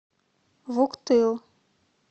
вуктыл